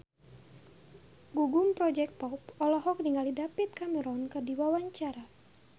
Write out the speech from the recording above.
Gugum Project Pop olohok ningali David Cameron keur diwawancara